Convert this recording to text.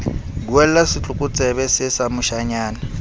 buella setlokotsebe see sa moshanyana